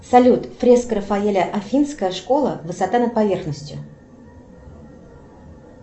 салют фреска рафаэля афинская школа высота над поверхностью